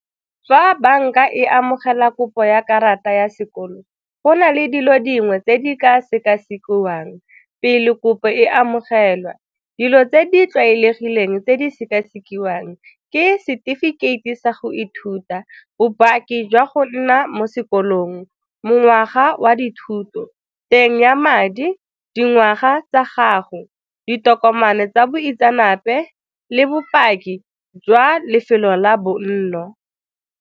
Fa banka e amogela kopo ya karata ya sekolo go na le dilo dingwe tse di ka sekasekiwang pele kopo e amogelwa. Dilo tse di tlwaelegileng tse di sekasekiwang ke setefikeiti sa go ithuta, bopaki jwa go nna mo sekolong, mengwaga wa dithuto, teng ya madi, dingwaga tsa gago, ditokomane tsa boitseanape le bopaki jwa lefelo la bonno.